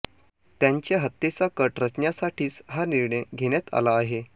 त्यांच्या हत्येचा कट रचण्यासाठीच हा निर्णय घेण्यात आला आहे